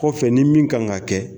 Kɔfɛ ni min kan ka kɛ